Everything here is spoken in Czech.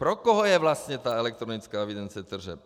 Pro koho je vlastně ta elektronická evidence tržeb?